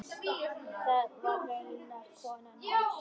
Það var raunar konan hans.